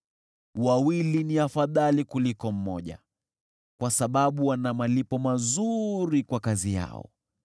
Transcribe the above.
Wawili ni afadhali kuliko mmoja, kwa sababu wana malipo mazuri kwa kazi yao: